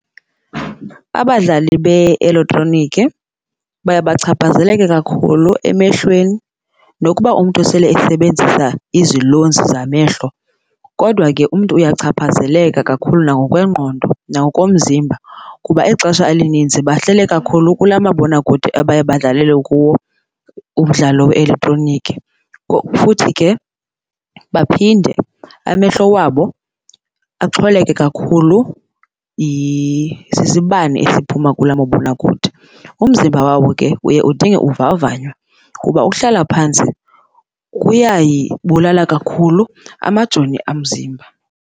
Abadlali be-eletroniki baye bachaphazeleke kakhulu emehlweni nokuba umntu sele esebenzisa izilonzi zamehlo kodwa ke umntu uyachaphazeleka kakhulu nangokwengqondo nangokomzimba kuba ixesha elininzi bahlele kakhulu kula mabonakude abaye badlalele kuwo umdlalo we-eletroniki. Futhi ke baphinde amehlo wabo axhwaleke kakhulu sisibane esiphuma kula mabonakude. Umzimba wawo ke uye udinge uvavanywa kuba uhlala phantsi kuyayibulala kakhulu amajoni omzimba.